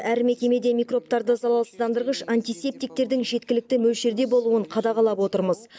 әр мекемеде микробтарды залалсыздандырғыш антисептиктердің жеткілікті мөлшерде болуын қадағалап отырмыз